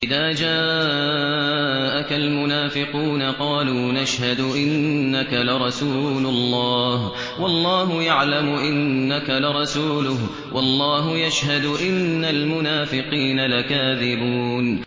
إِذَا جَاءَكَ الْمُنَافِقُونَ قَالُوا نَشْهَدُ إِنَّكَ لَرَسُولُ اللَّهِ ۗ وَاللَّهُ يَعْلَمُ إِنَّكَ لَرَسُولُهُ وَاللَّهُ يَشْهَدُ إِنَّ الْمُنَافِقِينَ لَكَاذِبُونَ